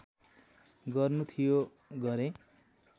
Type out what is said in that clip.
गर्नु थियो गरेँ